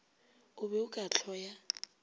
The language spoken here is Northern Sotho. o be o ka hloya